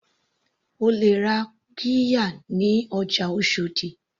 O lè ra qirya ní ọjà oshòdì.